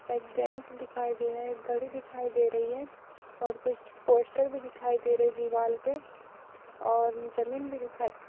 एक जेंट्स दिखाई दे रहे है एक घड़ी दिखाई दे रही है और कुछ पोस्टर भी दिखाई दे रहे दीवाल पे और जमीन भी दिखाई --